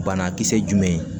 Banakisɛ jumɛn ye